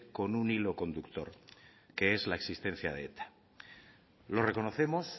con un hilo conductor que es la existencia de eta lo reconocemos